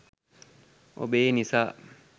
ඔබේ නිසා